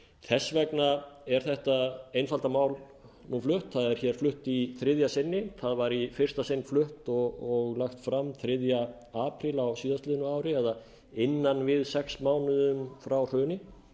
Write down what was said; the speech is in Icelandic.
þess vegna er þetta einfalda mál flutt það er flutt í þriðja sinni það var í fyrsta sinn flutt og lagt fram þriðja apríl á síðastliðnu ári eða innan við sex mánuðir frá hruni en